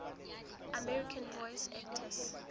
american voice actors